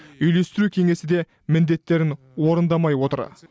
үйлестіру кеңесі де міндеттерін орындамай отыр